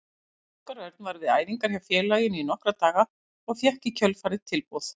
Óskar Örn var við æfingar hjá félaginu í nokkra daga og fékk í kjölfarið tilboð.